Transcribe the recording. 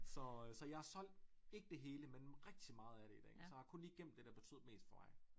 Så så jeg har solgt ikke det hele men rigtig meget af det i dag så jeg har kun lige gemt det der betød mest for mig